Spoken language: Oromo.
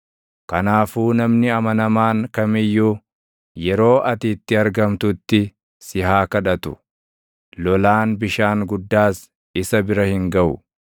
Kanaafuu namni amanamaan kam iyyuu, yeroo ati itti argamtutti si haa kadhatu; lolaan bishaan guddaas isa bira hin gaʼu.